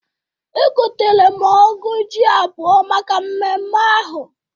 Egotere m ọ́gụ̀ ji abụọ maka mmemme ahụ.